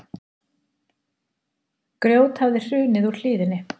Grjót hafði hrunið úr hlíðinni